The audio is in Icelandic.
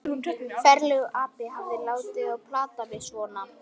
Ferlegur api að hafa látið þá plata mig svona.